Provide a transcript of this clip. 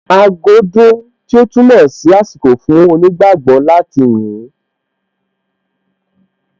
Aago dún, tí ó túmọ̀ sí àsìkò fún onígbágbọ̀ọ́ láti yìn ín